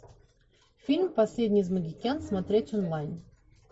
фильм последний из могикан смотреть онлайн